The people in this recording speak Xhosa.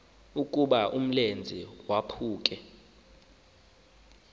ukuba umlenze waphuke